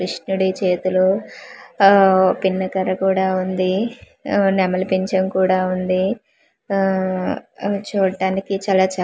కృష్ణుడి చేతిలో ఆ పిన్నకర్ర కూడా ఉంది ఆ నెమలి పించం కూడా ఉంది ఆ అ చూట్టానికి చాలా చ --